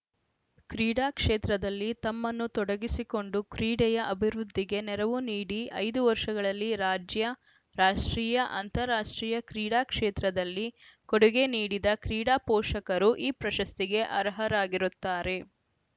ಕ್ರೀಡಾ ಕ್ಷೇತ್ರದಲ್ಲಿ ತಮ್ಮನ್ನು ತೊಡಗಿಸಿಕೊಂಡು ಕ್ರೀಡೆಯ ಅಭಿವೃದ್ಧಿಗೆ ನೆರವು ನೀಡಿ ಐದು ವರ್ಷಗಳಲ್ಲಿ ರಾಜ್ಯ ರಾಷ್ಟ್ರೀಯ ಅಂತರರಾಷ್ಟ್ರೀಯ ಕ್ರೀಡಾ ಕ್ಷೇತ್ರದಲ್ಲಿ ಕೊಡುಗೆ ನೀಡಿದ ಕ್ರೀಡಾ ಪೋಷಕರು ಈ ಪ್ರಶಸ್ತಿಗೆ ಅರ್ಹರಾಗಿರುತ್ತಾರೆ